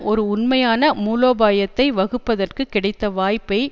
ஒரு உண்மையான மூலோபாயத்தை வகுப்பதற்கு கிடைத்த வாய்ப்பை